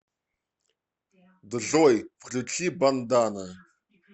джой включи бандана